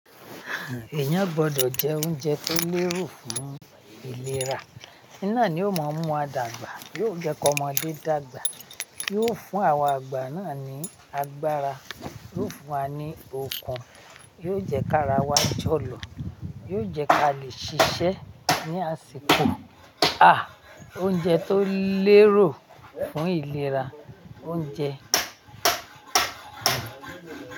Èèyàn gbọdọ̀ jẹ oúnjẹ tó lérò fún ìlera. Iná ni ó máa ń mú wa dàgbà. Yóò jẹ́ kí ọmọdé dàgbà. Yóò fún àwa àgbà náà ní agbára. Yóò fún wa ní okun. Yóò jẹ́ kárawà jọ̀lọ̀. Yóò jẹ́ ká lè ṣiṣẹ́ ní àsìkò. À! Oúnjẹ tó lérò fún ìlera, oúnjẹ.